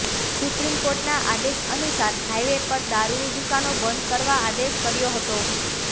supreme કોર્ટના આદેશ અનુસાર હાઇવે પર દારૂની દુકાનો બંધ કરવા આદેશ કર્યો હતો